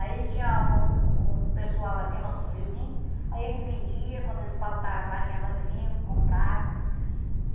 Aí tinha um um pessoal assim, nossos vizinhos, aí a gente vendia, quando eles faltava farinha lá eles vinham, comprava.